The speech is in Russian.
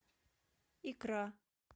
икра